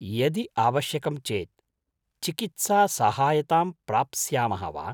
यदि आवश्यकं चेत् चिकित्सासहायतां प्राप्स्यामः वा?